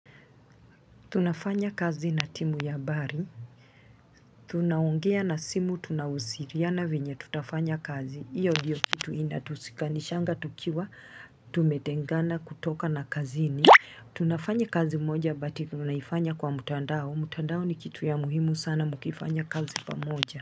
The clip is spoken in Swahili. Tunafanya kazi na timu ya habari Tunaongea na simu tunawasiliana venye tutafanya kazi. Hiyo ndiyo kitu inatushikanishanga tukiwa tumetengana kutoka na kazini Tunafanya kazi moja but tunaifanya kwa mtandao. Mtandao ni kitu ya muhimu sana mkifanya kazi pamoja.